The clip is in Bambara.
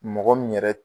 Mɔgɔ min yɛrɛ